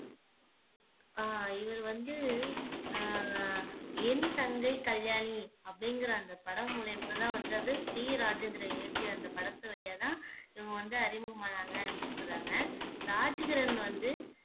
அஹ் இவர் வந்து அஹ் என் தங்கை கல்யாணி அப்படிங்கிற அந்த படம் மூலியமாதான் வந்து அது டி ராஜேந்திரன் இயக்கிய அந்த படத்து வழியாதான் இவங்க வந்து அறிமுகமானாங்க அப்படின்னு சொல்றாங்க ராஜ்கிரண் வந்து